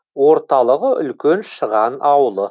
орталығы үлкен шыған ауылы